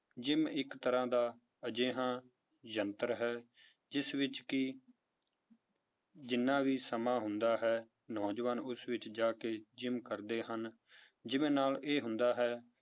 Gym ਇੱਕ ਤਰ੍ਹਾਂ ਦਾ ਅਜਿਹਾ ਯੰਤਰ ਹੈ ਜਿਸ ਵਿੱਚ ਕਿ ਜਿੰਨਾ ਵੀ ਸਮਾਂ ਹੁੰਦਾ ਹੈ, ਨੌਜਵਾਨ ਉਸ ਵਿੱਚ ਜਾ ਕੇ gym ਕਰਦੇ ਹਨ gym ਨਾਲ ਇਹ ਹੁੰਦਾ ਹੈ